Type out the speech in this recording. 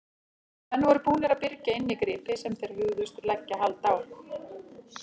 Menn voru búnir að byrgja inni gripi sem þeir hugðust leggja hald á.